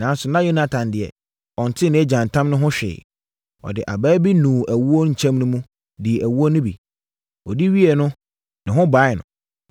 Nanso, na Yonatan deɛ, ɔntee nʼagya ntam no ho hwee. Ɔde abaa bi nuu ɛwoɔ kyɛm no mu, dii ɛwoɔ no bi. Ɔdi wieeɛ no, ne ho baee no.